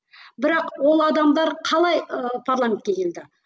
бірақ ол адамдар қалай ы парламентке келді